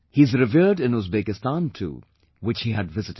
He is revered in Uzbekistan too, which he had visited